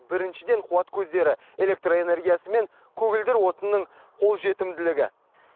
біріншіден қуат көздері электр энергиясы мен көгілдір отынның қолжетімділігі